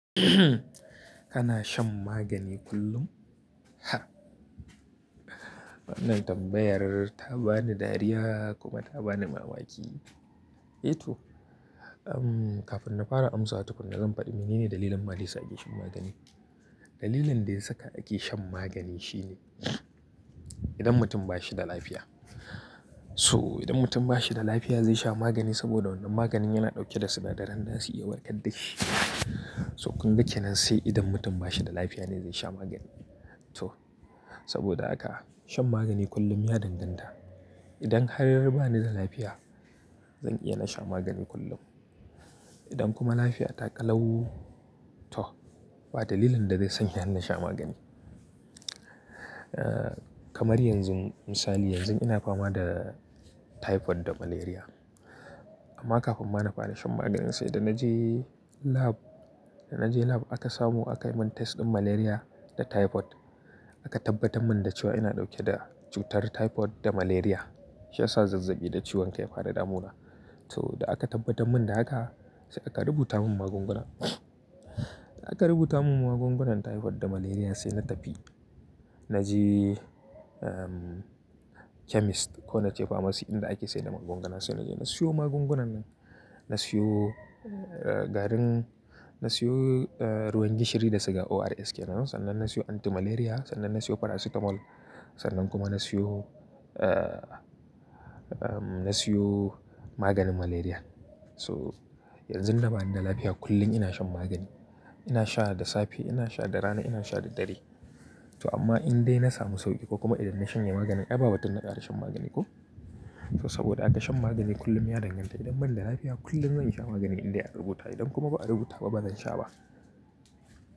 Kana shan magani kullum? Ha! Wannan tambayar ta bani dariya kuma ta bani mamaki. Eh to, um, kafin na fara amsawa tukuna zan fadi mene ne dalilin ma dayasa ake shan magani. Dalilin da ya saka ake shan magani shine idan mutum ba shi da lafiya. So idan mutum ba shi da lafiya zai sha magani saboda wannan maganin yana dauke da sinadaran da su iya warkar da shi. So kunga kenan nan sai idan mutum ba shi da lafiya ne zai sha magani. To saboda haka shan magani kullum ya danganta. Idan har ba ni da lafiya, zan iya na sha magani kullum. Idan kuma lafiya ta ƙalau, to ba dalilin da zai sanya ni na sha magani. Eh kamar yanzu misali yanzun ina fama da typhoid da malaria. Amma kafin ma na fara shan magani sai da na je lab, da na je lab aka samu aka yi min test din malaria da typhoid aka tabbatar mun da cewa ina dauke da cutar typhoid da malaria. Shi ya sa zazzaɓi da ciwon kai ya fara damuna. So da aka tabbatar mun da haka sai aka rubuta mun magunguna. Da aka rubuta mun magungunan typhoid da malaria sai na tafi na je, um, chemist ko na ce pharmacy inda ake saida magunguna sai na je na siyo magungunan nan. Na siyo, eh, garin, na siyo, eh, ruwan gishiri da suke ORS ke nan, sannan na siyo anti-malaria, sannan na siyo paracetamol, sannan kuma na siyo, eh, um, na siyo maganin malaria. So yanzu da bani da lafiya kullum ina shan magani. Ina sha da safe, ina sha da rana, ina sha da dare. So amma indai na samu sauki ko kuma idan na shanye maganin ai babu batun na ƙare shan magani ko. So saboda haka shan magani kullum ya danganta. Idan mun da lafiya kullum zan iya magani inda aka rubuta. Idan kuma ba a rubuta ba, ba zan sha ba.